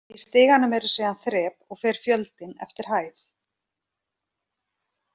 Í stiganum eru síðan þrep og fer fjöldinn eftir hæð.